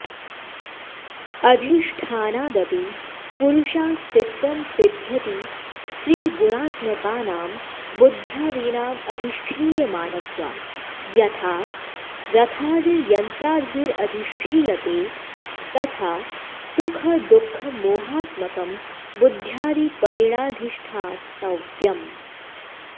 अधिष्ठानादपि पुरुषास्तित्वं सिद्ध्यति त्रिगुणात्मकानां बुद्ध्यादीनामधिष्ठीयमानत्वात् यथा रथादिर्यन्त्रादिभिरधिष्ठीयते तथा सुखदुःखमोहात्मकं बुद्ध्यादि परेणाधिष्ठातव्यम्